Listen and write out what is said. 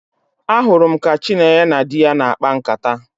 Ahụrụ m ka Chinenye na di ya na-akpa nkata